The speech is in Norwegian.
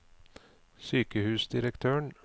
sykehusdirektøren